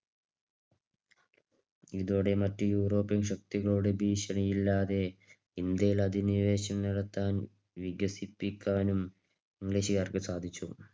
ഇതോടെ മറ്റ് യൂറോപ്പ്യൻ ശക്തികളുടെ ഭീഷണിയില്ലാതെ ഇന്ത്യയിൽ അധിനിവേശം നടത്താൻ വികസിപ്പിക്കാനും ഇംഗ്ലീഷുകാർക്ക് സാധിച്ചു.